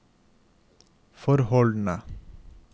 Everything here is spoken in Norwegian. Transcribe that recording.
forholdene